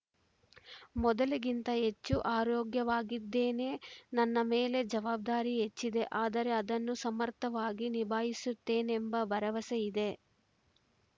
ಮೊದಲಿಗಿಂತ ಹೆಚ್ಚು ಆರೋಗ್ಯವಾಗಿದ್ದೇನೆ ನನ್ನ ಮೇಲೆ ಜವಾಬ್ದಾರಿ ಹೆಚ್ಚಿದೆ ಆದರೆ ಅದನ್ನು ಸಮರ್ಥವಾಗಿ ನಿಭಾಯಿಸುತ್ತೇನೆಂಬ ಭರವಸೆ ಇದೆ